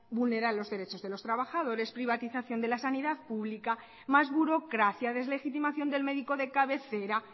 vulnerar los derechos de los trabajadores privatización de la sanidad pública más burocracia deslegitimación del médico de cabecera